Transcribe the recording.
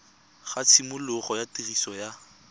ga tshimologo ya tiriso ya